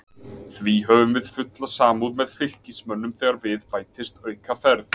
Því höfum við fulla samúð með Fylkismönnum þegar við bætist aukaferð.